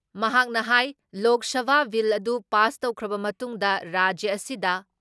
ꯃꯍꯥꯛꯅ ꯍꯥꯏ ꯂꯣꯛ ꯁꯚꯥ ꯕꯤꯜ ꯑꯗꯨ ꯄꯥꯁ ꯇꯧꯈ꯭ꯔꯕ ꯃꯇꯨꯡꯗ ꯔꯥꯖ꯭ꯌ ꯑꯁꯤꯗ